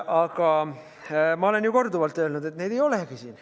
Aga ma olen ju korduvalt öelnud, et neid ei olegi siin.